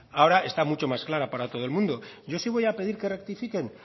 ahora está mucho más clara para todo el mundo yo sí voy a pedir que rectifiquen